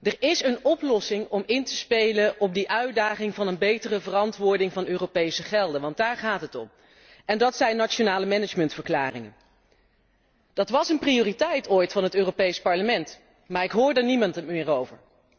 Er is een oplossing om in te spelen op die uitdaging van een betere verantwoording van Europese gelden want daar gaat het om en dat zijn nationale managementverklaringen. Dat was ooit een prioriteit van het Europees Parlement, maar ik hoor er niemand meer over.